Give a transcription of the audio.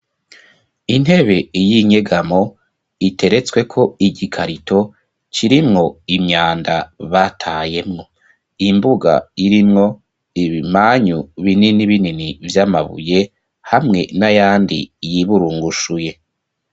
Intebe y'inkegamo iteretswe ko igikarito kirimwo imyanda batayemwo .Imbuga irimwo ibimanyu binini binini vy'amabuye hamwe n'ayandi yiburungushuye.